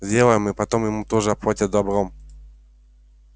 сделаем и потом ему тоже отплатят добром